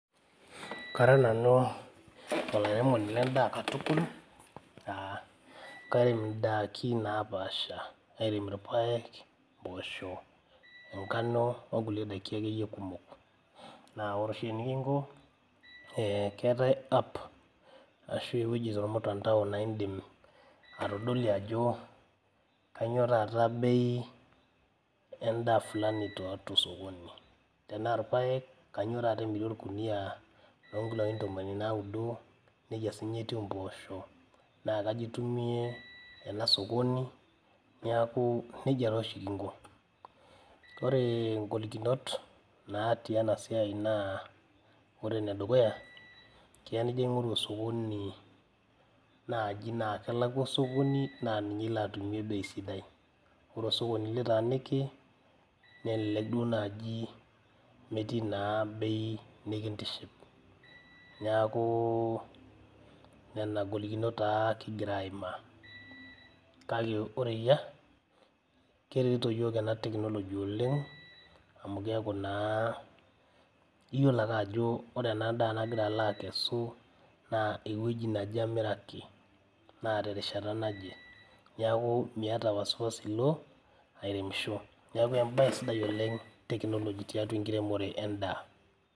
Kara nanu olairemoni lendaa katukul uh kairem indaki napaasha karem irpayek mpoosho enkano onkulie daiki akeyie kumok naa ore oshi enikinko eh keetae app ashu ewueji tormutandao naindim atodolie ajo kanyio taata bei endaa flani too tosokoni tanaa irpayek kanyio taata emiri orkunia lonkiloi ntomoni naudo nejia sininye etiu impoosho naa kaji itumie ena sokoni niaku nejia taa oshi kinko ore ingolikinot natii ena siai naa ore enedukuya keya nijio aing'oru osokoni naaji naa kelakua osokoni naa ninye ilo atumie bei sidai ore osokoni litaaniki nelelek duo naaji metii naa bei nikintiship neaku nena golikinot taa kigira aimaa kake ore eyia keretito iyiok ena tekinoloji oleng amu keeku naa iyiolo ake ajo ore ena daa nagira alo akesu naa ewueji naje amiraki naa terishata naje niaku miata wasiwasi ilo airemisho niaku embaye sidai oleng tekinoloji tiatua enkiremore endaa.